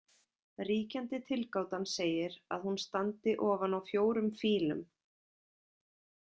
Ríkjandi tilgátan segir að hún standi ofan á fjórum fílum.